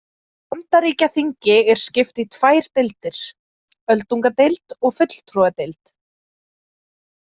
Bandaríkjaþingi er skipt í tvær deildir, öldungadeild og fulltrúadeild.